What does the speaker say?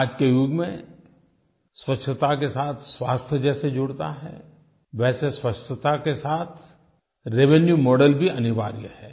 आज के युग में स्वच्छता के साथ स्वास्थ्य जैसे जुड़ता है वैसे स्वच्छता के साथ रेवेन्यू मॉडेल भी अनिवार्य है